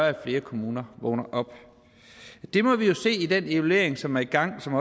at flere kommuner vågner op det må vi jo se i den evaluering som er i gang som